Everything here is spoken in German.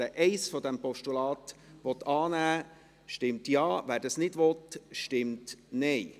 Wer die Ziffer 1 des Postulats annehmen will, stimmt Ja, wer dies nicht will, stimmt Nein.